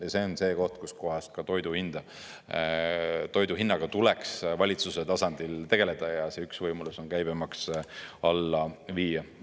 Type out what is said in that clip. Ja see on see koht, kus toidu hinnaga tuleks valitsuse tasandil tegeleda, see üks võimalus on käibemaks alla viia.